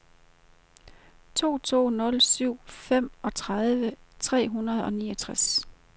to to nul syv femogtredive tre hundrede og niogtres